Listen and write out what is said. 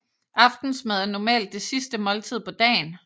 Aftensmad er normalt det sidste måltid på dagen